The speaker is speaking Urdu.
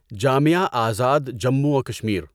جامعہ ازاد جموں و کشمیر